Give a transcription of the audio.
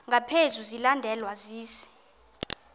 ngaphezu silandelwa sisi